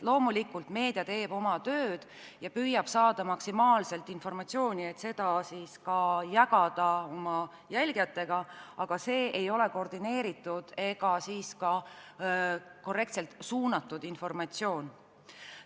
Loomulikult meedia teeb oma tööd ja püüab saada maksimaalselt informatsiooni, et seda siis ka jagada oma jälgijatega, aga see ei ole koordineeritud ega siis ka korrektselt suunatud informeerimine.